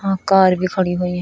यहां कार भी खड़ी हुई है।